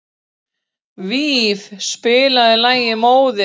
Víf, spilaðu lagið „Móðir“.